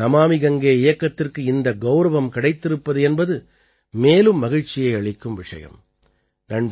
நமாமி கங்கே இயக்கத்திற்கு இந்த கௌரவம் கிடைத்திருப்பது என்பது மேலும் மகிழ்ச்சியை அளிக்கும் விஷயம்